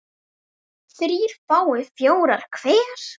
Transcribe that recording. þrír fái fjóra hver